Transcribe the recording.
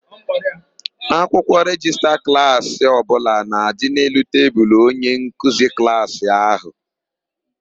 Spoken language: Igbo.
Akwụkwọ rejista klaasị ọbụla na-adị n'elu tebulu onyenkeuzi klaasị ahụ.